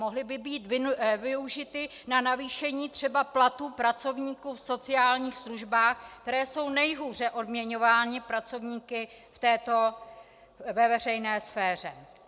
Mohly by být využity na navýšení třeba platů pracovníků v sociálních službách, kteří jsou nejhůře odměňovanými pracovníky ve veřejné sféře.